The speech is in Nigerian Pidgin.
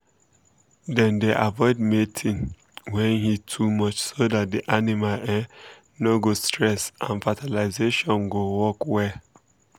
dem dey avoid mating when heat too much so that the animal um no go stress and fertilisation go um work well. um